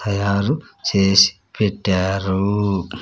తయారు చేసి పెట్టారు.